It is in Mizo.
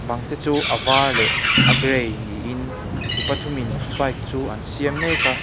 bang te chu a var leh a gray niin mi pathum in bike chu an siam mek a.